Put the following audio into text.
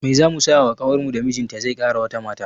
Mai zamu saya wa ƙawarmu da mijinta zai kara wata mata?